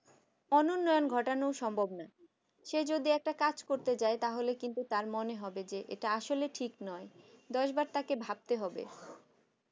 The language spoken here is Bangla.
অনুন্নয়ন ঘটানো সম্ভব নয় সে যদি একটা কাজ করতে যায় তাহলে তার মনে হবে এটা হয়তো ঠিক নয় দশ বার তাকে ভাবতে হবে